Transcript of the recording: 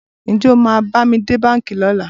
Ǹjẹ́ o máa bá mi dé báńkì lọ́la?